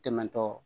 Tɛmɛtɔ